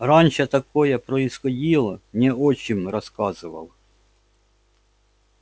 раньше такое происходило мне отчим рассказывал